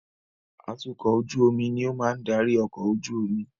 Atukọ̀ ojú omi ni ó máa ń darí ọkọ̀ ojú omi.